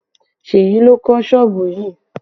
Seyi ló kọ́ sọ́ọ̀bù yìí